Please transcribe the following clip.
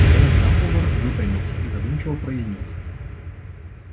наконец дамблдор выпрямился и задумчиво произнёс